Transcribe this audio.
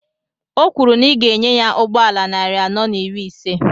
Ọ kwuru na ị ga enye ya ụgbọala narị anọ na iri ise